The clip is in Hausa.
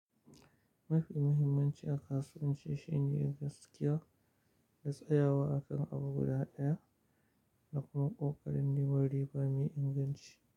Mafi muhimmanci a kasuwanci shine gaskiya da tsayawa akan abu guda daya da kuma ƙoƙarin neman riba mai inganci.